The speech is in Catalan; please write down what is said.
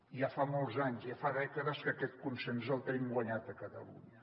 ja fa molts anys ja fa dècades que aquest consens el tenim guanyat a catalunya